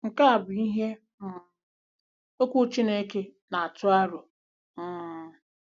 Nke a bụ ihe um Okwu Chineke na-atụ aro. um